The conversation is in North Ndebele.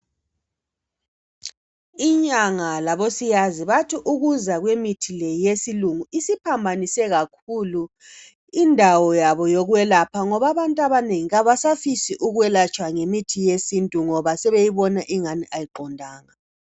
Inyanga labosiyazi bathi ukuza kwemithi le yesilungu isiphambanise kakhulu indawo yabo yokwelapha ngoba abantu abanengi kabasafisi ukwelatshwa ngemithi yesintu ngoba sebeyibona engani ayiqondanga.